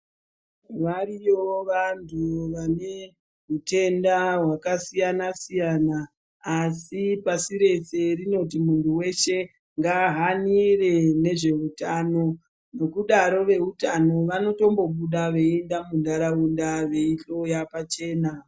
Wariyoo vantu wane hutenda hwakasiyana siyana. Asi pasi rese rinoti muntu weshe ngaahanire nezveutano. Ngekudaro weutano wanotombobuda weienda munharaunda weihloya pachena.